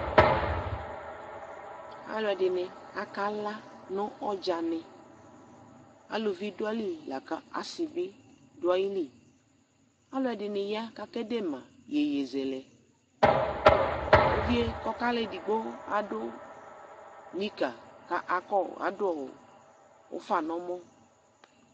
Aluɛ de nɛ akala no ɔdzane, Aluvi do ayili la kase be do ayiliAlɛde ne ya ka kede ma yeyezɛlɛUvie kɔ kala edigbo ado nika ko akɔ ,adoɔ ufa no ɔmɔ